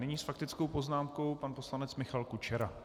Nyní s faktickou poznámkou pan poslanec Michal Kučera.